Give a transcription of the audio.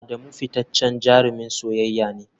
Adamu fitaccen jarumin soyayya ne.